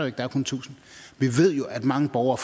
ikke der er kun tusind vi ved jo at mange borgere